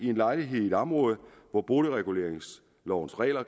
en lejlighed i et område hvor boligreguleringslovens regler